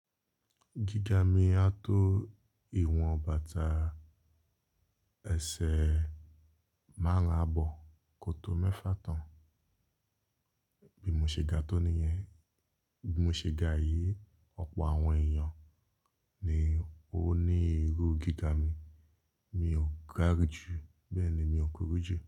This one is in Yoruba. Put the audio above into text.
Gíga mi a tó ìwọ̀n bàtà ẹsẹ̀ márùn-ún àbọ̀ kọto mẹ́fà tán. Bí mo ṣe ga tó nìyẹn, bí mo ṣe ga yìí, ọ̀pọ̀ àwọn èèyàn ni ó ní irú gíga mi, mi ò ga jù, bẹ́ẹ̀ ni mi ò kúrú jù.